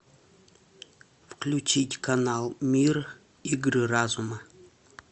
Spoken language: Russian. включить канал мир игры разума